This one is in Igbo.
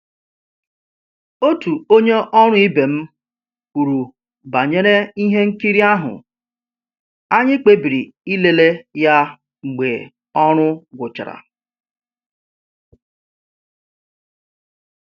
Otu onye ọrụ ibe m kwuru banyere ihe nkiri ahụ, anyị kpebiri ịlele ya mgbe ọrụ gwụchara